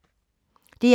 DR2